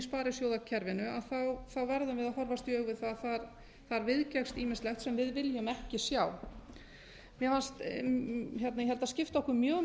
sparisjóðakerfinu verðum við að horfast í augu við það að það viðgekkst ýmislegt sem við viljum ekki sjá ég held að skipti okkur mjög